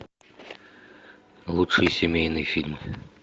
лучшие семейные фильмы